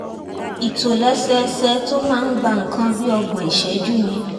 ìtòlẹ́sẹẹsẹ tó máa ń gba nǹkan bí ọgbọ̀n ìṣẹ́jú ni